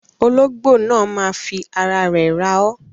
Ologbo náà má fi ara rẹ̀ rá o.